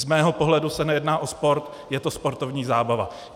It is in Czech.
Z mého pohledu se nejedná o sport, je to sportovní zábava.